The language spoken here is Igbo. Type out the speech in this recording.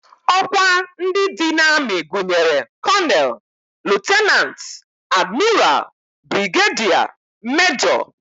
Ọkwa ndị dị n'amị gụnyere kọnel, lutenant, admiral, brigediya, mejọ